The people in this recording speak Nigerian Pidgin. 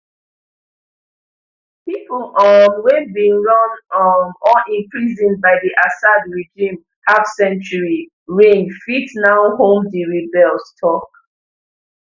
pipo um wey bin run um or imprisoned by di assad regime half century reign fit now home di rebels talk